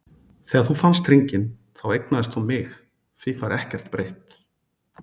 Þegar þú fannst hringinn þá eignaðist þú mig, því fær ekkert breytt.